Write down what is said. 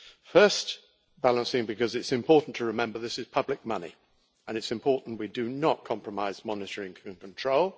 Firstly because it is important to remember this is public money and it's important we do not compromise monitoring and control.